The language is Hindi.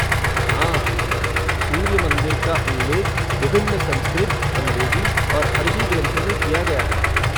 हाँ, सूर्य मंदिर का उल्लेख विभिन्न संस्कृत, अंग्रेज़ी और अरबी ग्रंथों में किया गया है।